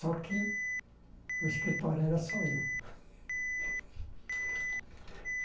Só que o escritório era só eu.